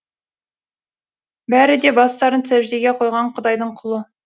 бәрі де бастарын сәждеге қойған құдайдың құлы